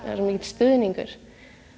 mikill stuðningur